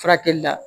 Furakɛli la